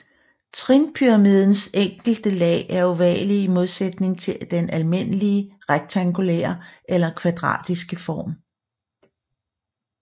Trinpyramidens enkelte lag er ovale i modsætning til den almindelige rektangulære eller kvadratiske form